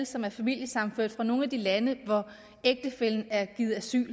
som familiesammenførte fra nogle af de lande hvor ægtefællen er givet asyl